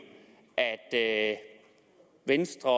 at venstre